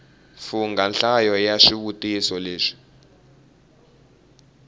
fungha nhlayo ya swivutiso leswi